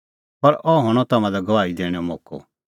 पर अह हणअ तम्हां लै गवाही दैणैंओ मोक्कअ